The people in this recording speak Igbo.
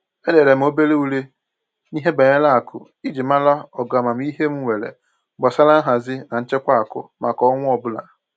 Edere m obere ule n'ihe banyere akụ iji mara ogo amamihe m nwere gbasara nhazi na nchekwa akụ maka ọnwa ọbụla